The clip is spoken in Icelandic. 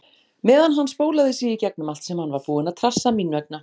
Meðan hann spólaði sig í gegnum allt sem hann var búinn að trassa mín vegna.